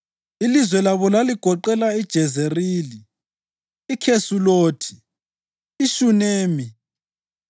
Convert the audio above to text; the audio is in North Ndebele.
Ilizwe labo laligoqela: iJezerili, iKhesulothi, iShunemi,